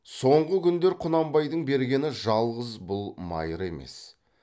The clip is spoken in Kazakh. соңғы күндер құнанбайдың бергені жалғыз бұл майыр емес